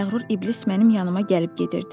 O məğrur iblis mənim yanıma gəlib gedirdi.